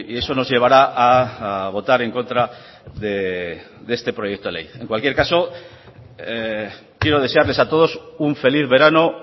eso nos llevará a votar en contra de este proyecto de ley en cualquier caso quiero desearles a todos un feliz verano